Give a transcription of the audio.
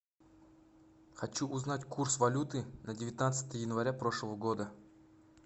хочу узнать курс валюты на девятнадцатое января прошлого года